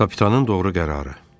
Kapitanın doğru qərarı.